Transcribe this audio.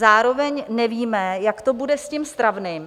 Zároveň nevíme, jak to bude s tím stravným.